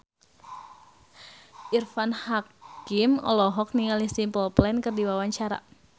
Irfan Hakim olohok ningali Simple Plan keur diwawancara